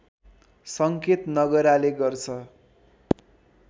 सङ्केत नगराले गर्छ